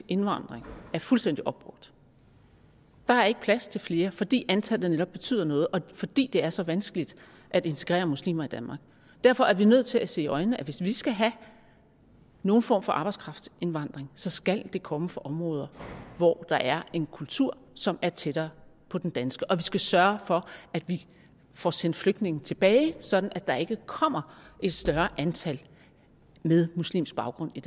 indvandring er fuldstændig opbrugt der er ikke plads til flere fordi antallet netop betyder noget og fordi det er så vanskeligt at integrere muslimer i danmark derfor er vi nødt til at se i øjnene at hvis vi skal have nogen form for arbejdskraftindvandring så skal den komme fra områder hvor der er en kultur som er tættere på den danske og vi skal sørge for at vi får sendt flygtninge tilbage sådan at der ikke kommer et større antal med muslimsk baggrund i